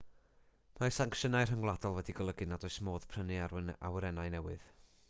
mae sancsiynau rhyngwladol wedi golygu nad oes modd prynu awyrennau newydd